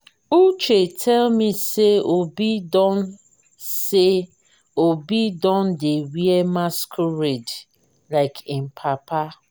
uche tell me say obi don say obi don dey wear masquerade like im papa.